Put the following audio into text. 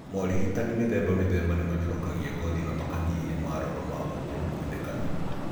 Maũrigitani mĩthemba mĩthemba nĩmanyororokagia ngothi na makanyihia maroro ma ũkũrũ kuonekana.